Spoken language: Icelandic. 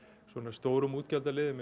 stórum útgjaldaliðum